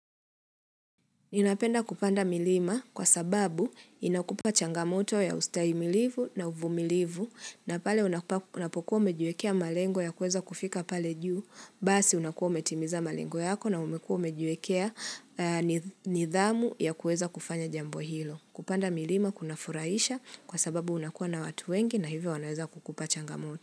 Ninapenda kupanda milima kwa sababu inakupa changamoto ya ustahi milivu na uvumilivu na pale unapokuwa mejuekea malengo ya kueza kufika pale juu, basi unakuwa umetimiza malengo yako na umekuwa umejiwekea nidhamu ya kuweza kufanya jambo hilo. Kupanda milima kuna furahisha kwa sababu unakuwa na watu wengi na hivyo wanaweza kukupa changamoto.